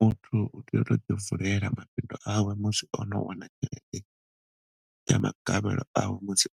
Muthu u tea u to ḓi vulela mabindu awe musi one ya magavhelo awe musi